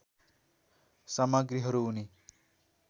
सामग्रीहरू उनी